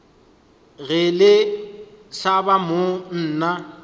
ge le hlaba mo nna